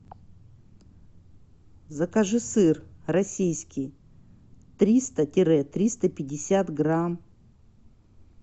закажи сыр российский триста тире триста пятьдесят грамм